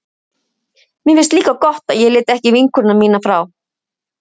Mér finnst líka gott að ég lét ekki vinkonu mína frá